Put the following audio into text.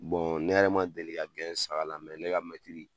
Bɔn ne yɛrɛre ma deli kɛ la mɛ ne ka mɛtiri.